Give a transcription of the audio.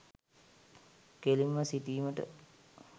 කෙළින්ම සිටීමට